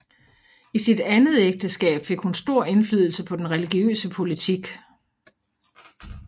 I sit andet ægteskab fik hun stor indflydelse på den religiøse politik